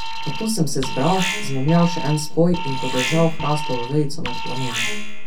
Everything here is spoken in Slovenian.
Nato sem se zbral, izmomljal še en spoj in podržal hrastovo vejico nad plamenom.